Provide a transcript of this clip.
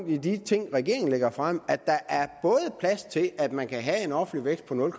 i de ting regeringen lægger frem at der er plads til at man både kan have en offentlig vækst på nul